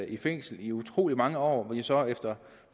i fængsel i utrolig mange år men hvor de så efter